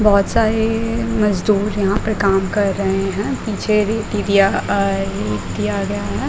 बहोत सारेएए मजदुर यहाँ पर काम कर रहे हैं पीछे भी दिया गया है।